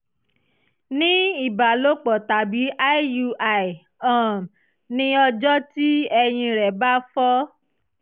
ní ìbálòpọ̀ tàbí iui um ní ọjọ́ tí ẹyin rẹ bá fọ́